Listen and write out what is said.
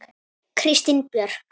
Kristín Björk.